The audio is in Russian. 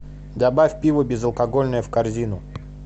добавь пиво безалкогольное в корзину